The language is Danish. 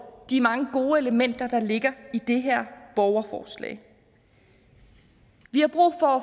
de mange gode elementer der ligger i det her borgerforslag vi har brug for